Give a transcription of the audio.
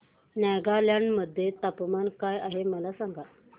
नागालँड मध्ये तापमान काय आहे मला सांगा